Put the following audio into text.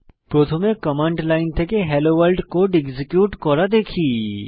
প্রথমে command line থেকে hello world code execute করা দেখি